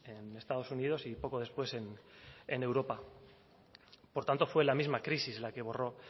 en estados unidos y poco después en europa por tanto fue la misma crisis la que borró